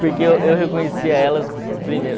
Porque eu eu reconhecia elas primeiro.